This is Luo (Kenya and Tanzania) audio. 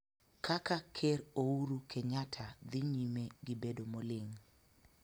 Kaka Ker Ouru Kenyatta dhi nyime gi bedo moling'